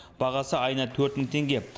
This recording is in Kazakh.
бағасы айына төрт мың теңге